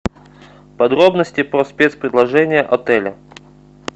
подробности по спец предложения отеля